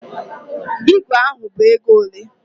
Ígwè ahụ bụ ego ole?